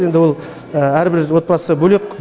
енді ол әрбір отбасы бөлек